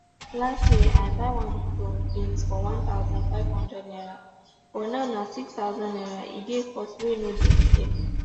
last year i buy one mudu of beans um for one thousand, five hundred naira but um now na six thousand naira e dey cost wey no dey fair